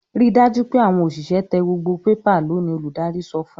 "Ri dájú pé àwọn òṣìṣẹ́ tẹ gbogbo pépà lónìí!" Olùdarí sọ fún un.